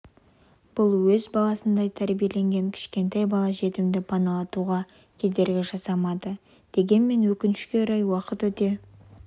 бұл өз баласындай тәрбиелеген кішкентай бала жетімді паналатуға кедергі жасамады дегенмен өкінішке орай уақыт өте